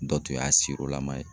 Dɔ tun y'a la man ye.